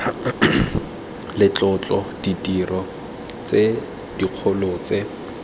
letlotlo ditiro tse dikgolo tse